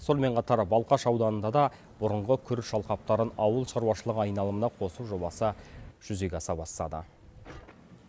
сонымен қатар балқаш ауданында да бұрынғы күріш алқаптарын ауыл шаруашылығы айналымына қосу жобасы жүзеге аса бастады